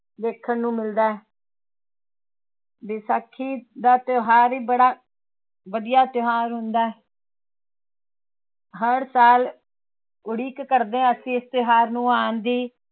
ਦੇਖਣ ਨੂੰ ਮਿਲਦਾ ਹੈ ਵਿਸਾਖੀ ਦਾ ਤਿਉਹਾਰ ਹੀ ਬੜਾ ਵਧੀਆ ਤਿਉਹਾਰ ਹੁੰਦਾ ਹੈ ਹਰ ਸਾਲ ਉਡੀਕ ਕਰਦੇ ਹਾਂ ਅਸੀਂ ਇਸ ਤਿਉਹਾਰ ਨੂੰ ਆਉਣ ਦੀ।